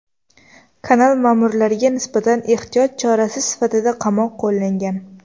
Kanal ma’murlariga nisbatan ehtiyot chorasi sifatida qamoq qo‘llangan.